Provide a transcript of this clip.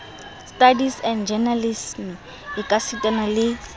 studies and journalism ekasitana le